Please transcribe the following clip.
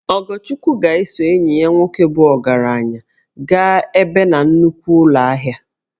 Ogochukwu ga-eso enyi ya nwoke bụ ogaranya gaa ebe na nnukwu ụlọ ahia